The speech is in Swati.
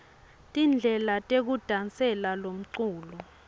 tindlela tekudasela lomculo